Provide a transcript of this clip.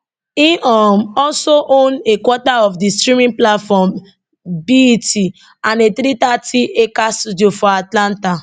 im um also own a quarter of di streaming platform bet and a 330acre studio for atlanta